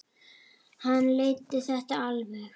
Hann leiddi þetta alveg.